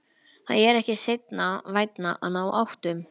Það er ekki seinna vænna að ná áttum.